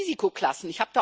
Einmal um Risikoklassen.